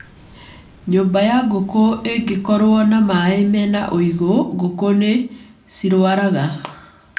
Nyũmba ya Ngũkũ ingĩkorwo na mai mena ũigũ ngũkũ nĩ cirwaraga